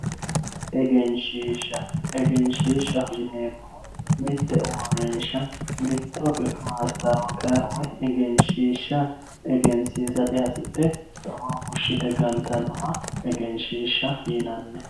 egenshiishsha egenshiishshaho yineemohu mitte uurinsha mitto mastawoqiiya woy egenshiishsha egensiisate hasidhe xaawo fushshite gantannoha egenshiishsha yinanni.